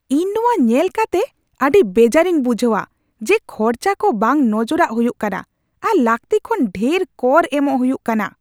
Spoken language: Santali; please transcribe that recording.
ᱤᱧ ᱱᱚᱣᱟ ᱧᱮᱞ ᱠᱟᱛᱮᱜ ᱟᱹᱰᱤ ᱵᱮᱡᱟᱨᱤᱧ ᱵᱩᱡᱷᱟᱹᱣᱟ ᱡᱮ ᱠᱷᱚᱨᱚᱪᱟ ᱠᱚ ᱵᱟᱝ ᱱᱚᱡᱚᱨᱟᱜ ᱦᱩᱭᱩᱜ ᱠᱟᱱᱟ, ᱟᱨ ᱞᱟᱹᱠᱛᱤ ᱠᱷᱚᱱ ᱰᱷᱮᱨ ᱠᱚᱨ ᱮᱢᱚᱜ ᱦᱩᱭᱩᱜ ᱠᱟᱱᱟ ᱾